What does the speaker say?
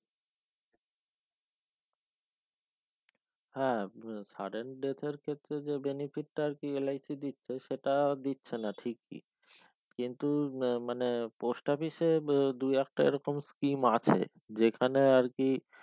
হ্যাঁ হু sudden date ক্ষেত্রে যে benefit টা আরকি LIC দিচ্ছে সেটা দিচ্ছে না ঠিকই কিন্তু আহ মানে post office এ দু একটা এই রকম scheme আছে যেখানে আর কি